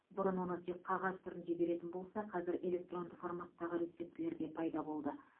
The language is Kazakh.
бұрын оны тек қағаз түрінде беретін болса қазір электронды форматтағы рецептілер де пайда болды